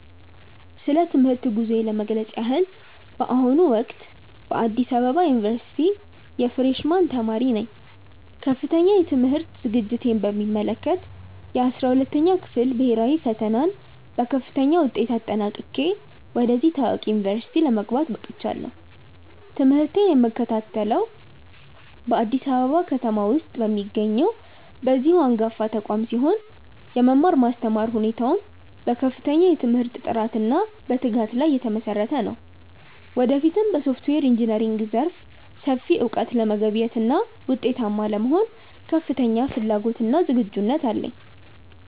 ስለ ትምህርት ጉዞዬ ለመግለጽ ያህል፣ በአሁኑ ወቅት በአዲስ አበባ ዩኒቨርሲቲ የፍሬሽ ማን ተማሪ ነኝ። ከፍተኛ የትምህርት ዝግጅቴን በሚመለከት፣ የ12ኛ ክፍል ብሄራዊ ፈተናን በከፍተኛ ውጤት አጠናቅቄ ወደዚህ ታዋቂ ዩኒቨርሲቲ ለመግባት በቅቻለሁ። ትምህርቴን የምከታተለው በአዲስ አበባ ከተማ ውስጥ በሚገኘው በዚሁ አንጋፋ ተቋም ሲሆን፣ የመማር ማስተማር ሁኔታውም በከፍተኛ የትምህርት ጥራትና በትጋት ላይ የተመሰረተ ነው። ወደፊትም በሶፍትዌር ኢንጂነሪንግ ዘርፍ ሰፊ እውቀት ለመገብየትና ውጤታማ ለመሆን ከፍተኛ ፍላጎትና ዝግጁነት አለኝ።